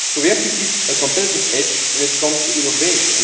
So we have to keep a competitive edge when it comes to innovation.